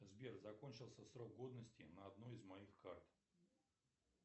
сбер закончился срок годности на одной из моих карт